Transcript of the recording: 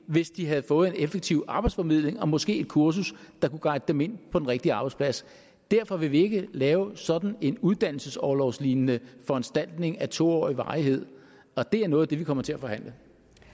hvis de havde fået en effektiv arbejdsformidling og måske et kursus der kunne guide dem ind på den rigtige arbejdsplads derfor vil vi ikke lave sådan en uddannelsesorlovslignende foranstaltning af to årig varighed og det er noget af det vi kommer til at forhandle